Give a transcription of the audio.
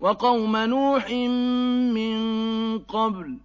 وَقَوْمَ نُوحٍ مِّن قَبْلُ ۖ